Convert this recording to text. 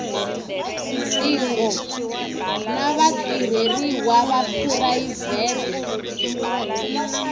tingo na vatirheriwa va phurayivhete